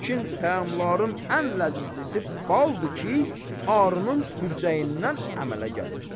Lakin təamların ən ləzzizlisi baldır ki, Arunun tüpürcəyindən əmələ gəlir.